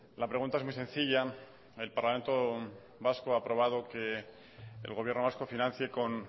la pregunta es muy sencilla el parlamento vasco ha aprobado que el gobierno vasco financie con